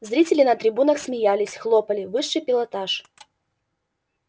зрители на трибунах смеялись хлопали высший пилотаж